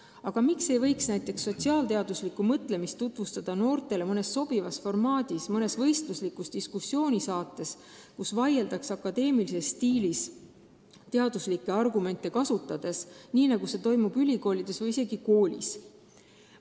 Aga miks ei võiks näiteks sotsiaalteaduslikku mõtlemist noortele tutvustada mõnes neile sobivas formaadis, mõnes võistluslikus diskussioonisaates, kus vaieldakse akadeemilises stiilis, teaduslikke argumente kasutades, nii nagu see toimub ülikoolides või ka koolides?